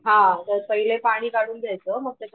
हा मग पहिले पाणी काढून घ्यायचं मग त्याच्यामध्ये